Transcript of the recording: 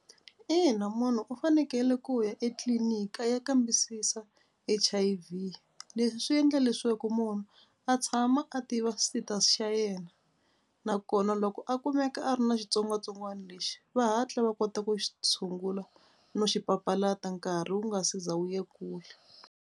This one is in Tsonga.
Ina munhu u fanekele ku ya etliliniki a ya kambisisa H_I_V. Leswi swi endla leswaku munhu a tshama a tiva status xa yena nakona loko a kumeka a ri na xitsongwatsongwana lexi va hatla va kota ku xi tshungula no xi papalata nkarhi wu nga se za wu ye kule.